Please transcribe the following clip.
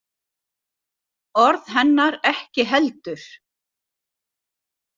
Orð hennar ekki heldur.